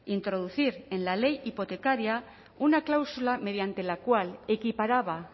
introducir en la ley hipotecaria una cláusula mediante la cual equiparaba